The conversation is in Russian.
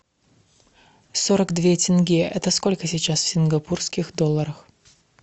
сорок две тенге это сколько сейчас в сингапурских долларах